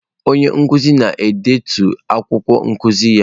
Onye nkuzi na-edetu akwụkwọ nkuzi ya.